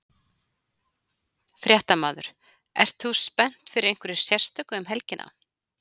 Fréttamaður: Ert þú spennt fyrir einhverju sérstöku um helgina?